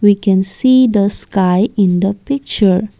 we can see the sky in the picture.